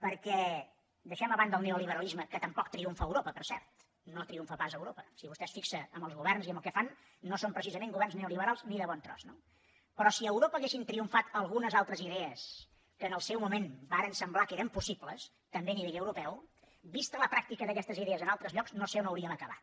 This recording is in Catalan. perquè deixem a banda el neoliberalisme que tampoc triomfa a europa per cert no triomfa pas a europa si vostè es fixa en els governs i en el que fan no són precisament governs neoliberals ni de bon tros no si a europa haguessin triomfat algunes altres idees que en el seu moment varen semblar que eren possibles també a nivell europeu vista la pràctica d’aquestes idees en altres llocs no sé on hauríem acabat